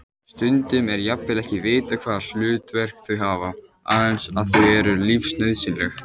Stundum er jafnvel ekki vitað hvaða hlutverk þau hafa, aðeins að þau eru lífsnauðsynleg.